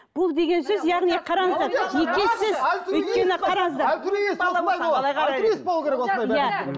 бұл деген сөз яғни қараңыздар